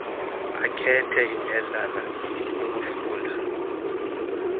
akhethe indledlana yokufunda